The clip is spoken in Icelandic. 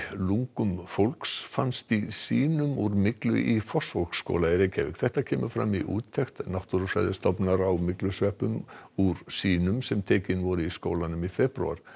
lungum fólks fannst í sýnum úr myglu í Fossvogsskóla þetta kemur fram í úttekt Náttúrufræðistofnunar á myglusveppum úr sýnum sem tekin voru í skólanum í febrúar